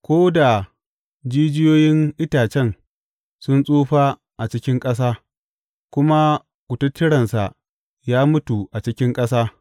Ko da jijiyoyin itacen sun tsufa a cikin ƙasa kuma kututturensa ya mutu a cikin ƙasa.